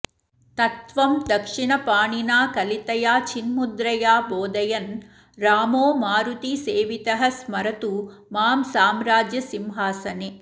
तत्त्वं दक्षिणपाणिना कलितया चिन्मुद्रया बोधयन् रामो मारुतिसेवितः स्मरतु मां साम्राज्यसिंहासने